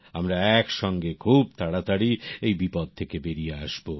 আমরা একসঙ্গে খুব তাড়াতাড়ি এই বিপদ থেকে বেরিয়ে আসব